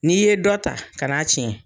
N'i ye dɔ ta ka na tiɲɛ.